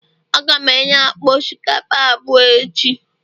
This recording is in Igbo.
Aga m enye akpa osikapa abụọ echi